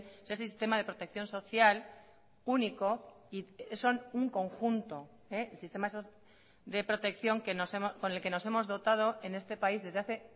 ese sistema de protección social único y son un conjunto el sistema de protección con el que nos hemos dotado en este país desde hace